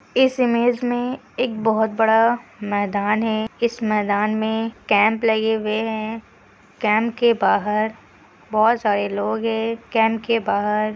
इस इमेज में एक बहुत बड़ा मैदान है इस मैदान में कैम्प लगे हुए हैं कैम्प के बाहर बहुत सारे लोग हैं कैम्प के बाहर --